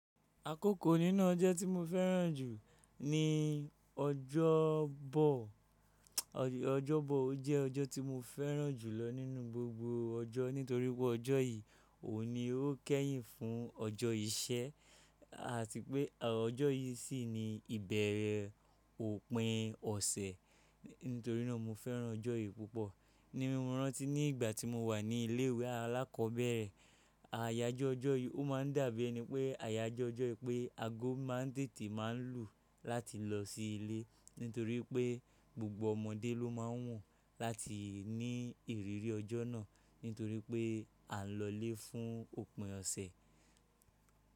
Akókò nínú ọjọ́ tí mo fẹ́ràn jù ni ọjọ́bọ. Ọjọ́bọ o jẹ́ ọjọ́ tí mo fẹ́ràn jù lọ nínú gbogbo ọjọ́ nítorí pé ọjọ́ yìí ò ní ó kẹ́yìn fún ọjọ́ iṣẹ́ àti pé ọjọ́ yìí sì ni ìbẹ̀rẹ̀ òpin ọ̀sẹ̀. Nítorí náà mo fẹ́ràn ọjọ́ yìí púpọ̀. Ní moràn tí ní ìgbà tí mo wà ní ilé ìwé alákọ̀ọ́bẹ̀rẹ̀, àyájọ́ ọjọ́ yìí ó máa ń dàbí ẹni pé àyájọ́ ọjọ́ yìí pé ago máa ń tètè máa ń lù láti lọ sí ilé. Nítorí pé gbogbo ọmọdé ló máa ń wu láti ní ìrírí ọjọ́ náà. Nítorí pé à ń lọlé fún òpin ọ̀sẹ̀.